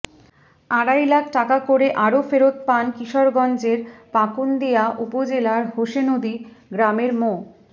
আড়াই লাখ টাকা করে আরো ফেরত পান কিশোরগঞ্জের পাকুন্দিয়া উপজেলার হোসেনদী গ্রামের মো